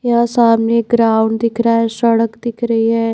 यह सामने ग्राउंड दिख रहा है सड़क दिख रही है।